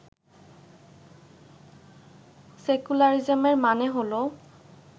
সেকুলারিজমের মানে হলো